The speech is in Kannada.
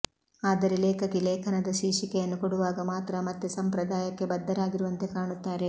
ಆದರೆ ಲೇಖಕಿ ಲೇಖನದ ಶೀರ್ಷಿಕೆಯನ್ನು ಕೊಡುವಾಗ ಮಾತ್ರ ಮತ್ತೆ ಸಂಪ್ರದಾಯಕ್ಕೆ ಬದ್ಧರಾಗಿರುವಂತೆ ಕಾಣುತ್ತಾರೆ